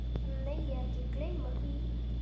Hann megi ekki gleyma því.